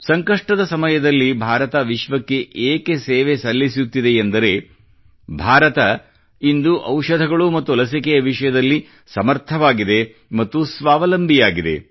ಸಂಕಷ್ಟದ ಸಮಯದಲ್ಲಿ ಭಾರತ ಏಕೆ ವಿಶ್ವಕ್ಕೆ ಸೇವೆ ಸಲ್ಲಿಸುತ್ತಿದೆಯೆಂದರೆ ಭಾರತ ಇಂದು ಔಷಧಗಳು ಮತ್ತು ಲಸಿಕೆಯ ವಿಷಯದಲ್ಲಿ ಸಮರ್ಥವಾಗಿದೆ ಮತ್ತು ಸ್ವಾವಲಂಬಿಯಾಗಿದೆ